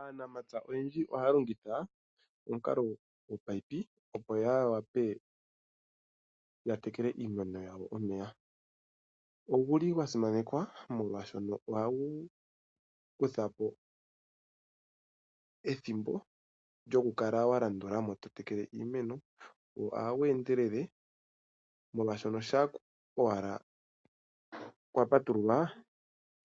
Aanamapya oyendji ohaya longitha omukalo gominino opo ya wape ya tekele iimeno yawo omeya. Oguli gwa simanekwa molwashoka ohagu kuthapo ethimbo lyokukala wa landulamo to tekele iimeno. Go ohagu endelele molwashoka shampa owala kwa patululwa,